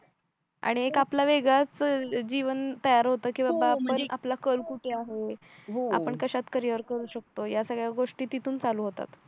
आणि एक आपला वेगळाच जीवन तयार होतं आपला कल कुठे आहे आपण कशात करिअर करू शकतो ह्या सगळ्या गोष्टी तिथून चालू होतात